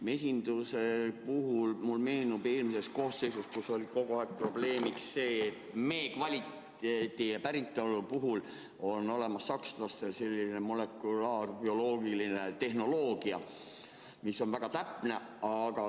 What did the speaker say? Mesinduse puhul mulle meenub eelmine koosseis, kus oli kogu aeg probleemiks see, et mee kvaliteedi ja päritolu jaoks on sakslastel olemas selline molekulaarbioloogiline tehnoloogia, mis on väga täpne.